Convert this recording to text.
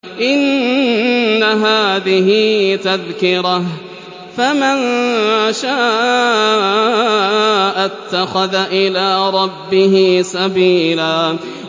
إِنَّ هَٰذِهِ تَذْكِرَةٌ ۖ فَمَن شَاءَ اتَّخَذَ إِلَىٰ رَبِّهِ سَبِيلًا